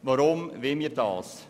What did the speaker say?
Warum wollen wir das?